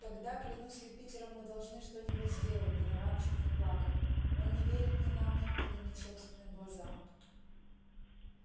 тогда клянусь юпитером мы должны что-нибудь сделать донован чуть не плакал он не верит ни нам ни книгам ни собственным глазам